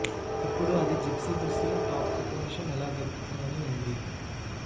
ఇప్పుడు అది జిప్సీ దుస్తులు టాప్ కుట్టుమిషన్ ఎలా దొరుకుతుందని ఉంది